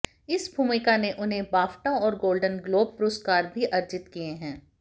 इस भूमिका ने उन्हें बाफ्टा और गोल्डन ग्लोब पुरस्कार भी अर्जित किए हैं